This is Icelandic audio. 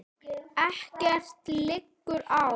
Ekkert liggur á